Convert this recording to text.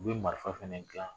U bɛ marifa fana dilan